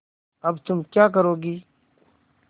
अब तुम क्या करोगी